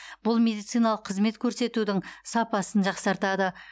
бұл медициналық қызмет көрсетудің сапасын жақсартады